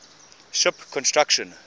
ship construction